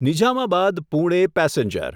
Nizamabad Pune passenger